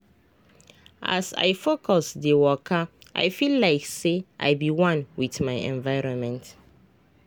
as i focus dey wakai feel like say i be one with my environment.